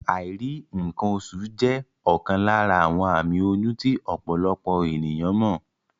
Àìrí ǹǹkan oṣù jẹ́ ọ̀kan lára àwọn àmì oyún tí ọ̀pọ̀lọpọ̀ ènìyán mọ̀